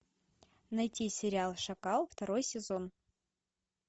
найти сериал шакал второй сезон